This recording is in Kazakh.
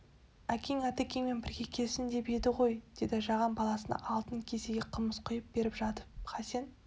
әкең атекеңмен бірге келсін деп еді ғой деді жаған баласына алтын кесеге қымыз құйып беріп жатып хасен